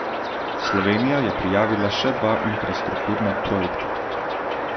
Slovenija je prijavila še dva infrastrukturna projekta.